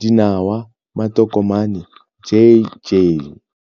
dinawa, matokomane, j j.